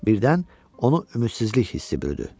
Birdən onu ümidsizlik hissi bürüdü.